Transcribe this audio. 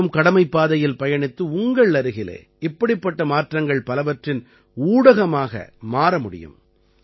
நீங்களும் கடமைப்பாதையில் பயணித்து உங்கள் அருகிலே இப்படிப்பட்ட மாற்றங்கள் பலவற்றின் ஊடகமாக மாறமுடியும்